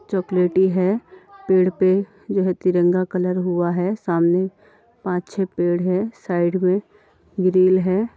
चॉकलेटी है पेड़ पे जो है तिरंगा कलर हुआ है सामने पाँच-छ पेड़ हैं। साइड में ग्रिल है।